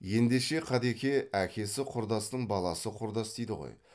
ендеше қадеке әкесі құрдастың баласы құрдас дейді ғой